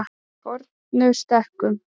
Fornustekkum